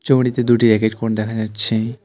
ছবিটিতে দুটি racket court দেখা যাচ্ছে।